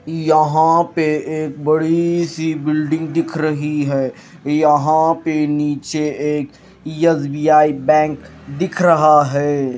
यहां पे एक बड़ी सी बिल्डिंग दिख रही है यहां पे नीचे एक एस_बी_आई बैंक दिख रहा है।